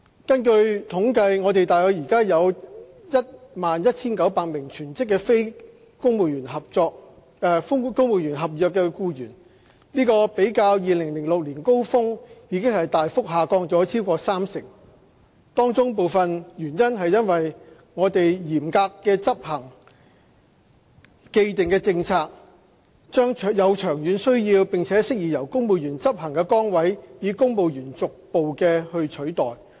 根據統計，我們現時大約有 11,900 名全職非公務員合約僱員，較2006年高峰已大幅下降超過三成，當中部分原因是我們嚴格執行既定政策，將有長遠需要並適宜由公務員執行的崗位，以公務員逐步取代。